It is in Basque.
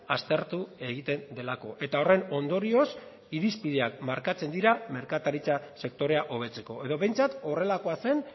aztertu egiten delako eta horren ondorioz irizpideak markatzen dira merkataritza sektorea hobetzeko edo behintzat horrelakoa zen